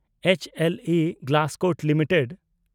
H L E Glascoat limited